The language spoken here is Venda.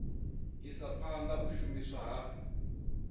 isa phanda u shumiswa ha